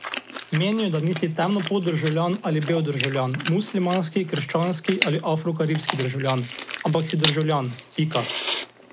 Menijo, da nisi temnopolt državljan ali bel državljan, muslimanski, krščanski ali afrokaribski državljan, ampak si državljan, pika.